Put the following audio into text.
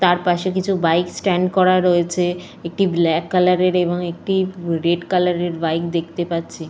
তার পাশে কিছু বাইক স্ট্যান্ড করা রয়েছে। একটি ব্ল্যাক কালার এর এবং একটি রেড কালার এর বাইক দেখতে পাচ্ছি।